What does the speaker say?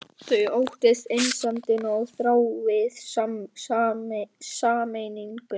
Þau óttist einsemdina og þrái sameininguna.